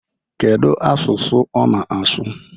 Kedu asụsụ ọ na-asụ?